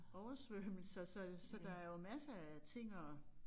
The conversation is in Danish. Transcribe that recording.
Oversvømmelser så så der er jo masser af ting at